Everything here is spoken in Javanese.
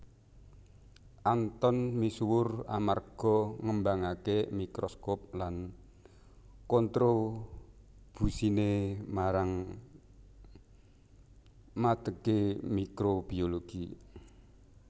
Anton misuwur amarga ngembangaké mikroskop lan kontrobusiné marang madegé mikrobiologi